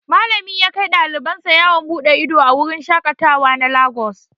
Malami yakai ɗaliban sa yawon bude ido a wurin shaƙatawa na lagos.